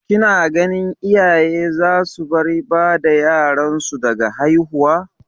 Ki na ganin iyaye za su bar bada yaran su daga haihuwa?